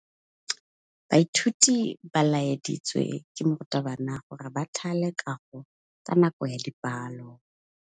Baithuti ba laeditswe ke morutabana gore ba thale kagô ka nako ya dipalô.